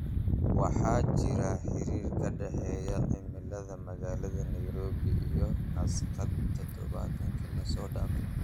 waxaa jira xiriir ka dhexeeya cimilada magaalada nairobi iyo nasdaq todobaadkii la soo dhaafay